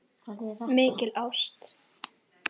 Mikil ást.